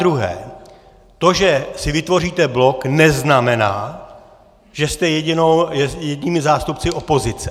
Zadruhé to, že si vytvoříte blok, neznamená, že jste jedinými zástupci opozice.